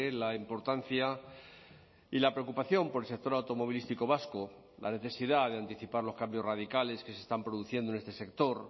la importancia y la preocupación por el sector automovilístico vasco la necesidad de anticipar los cambios radicales que se están produciendo en este sector